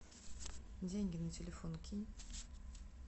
деньги на телефон кинь